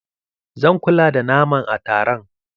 Zan kula da naman a taron.